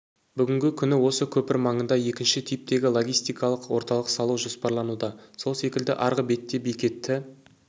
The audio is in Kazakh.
бүгінгі күні осы көпір маңында екінші типтегі логистикалық орталық салу жоспарлануда сол секілді арғы бетте бекеті